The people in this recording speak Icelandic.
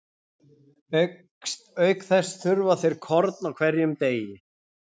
Auk þess þurfa þeir korn á hverjum degi.